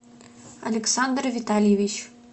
александр витальевич